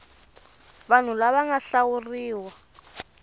vanhu lava va nga hlawuriwa